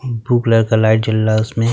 म् blue colour का light जल रा है। उसमें --